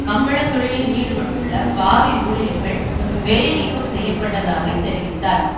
கம்பளத் தொழிலில் ஈடுபட்டுள்ள பாதி ஊழியர்கள் வேலை நீக்கம் செய்ய பட்டதாக தெரிவித்தார்